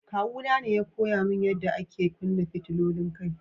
Kawu na ne ya koya mun yada ake kunna fitilolin kai.